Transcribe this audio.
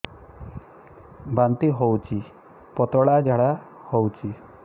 ବାନ୍ତି ହଉଚି ପତଳା ଝାଡା ହଉଚି